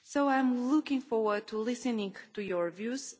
I am looking forward to listening to your views.